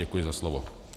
Děkuji za slovo.